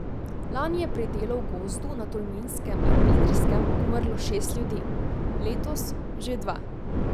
Lani je pri delu v gozdu na Tolminskem in Idrijskem umrlo šest ljudi, letos že dva.